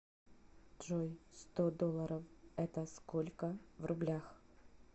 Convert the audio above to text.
джой сто долларов это сколько в рублях